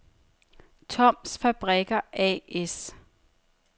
Toms Fabrikker A/S